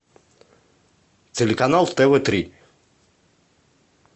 телеканал тв три